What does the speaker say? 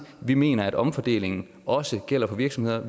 vi mener at omfordeling også gælder for virksomheder